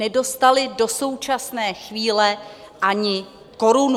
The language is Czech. Nedostali do současné chvíle ani korunu!